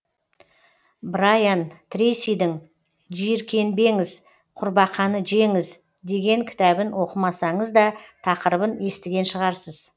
брайан трейсидің жиіркенбеңіз құрбақаны жеңіз деген кітабын оқымасаңыз да тақырыбын естіген шығарсыз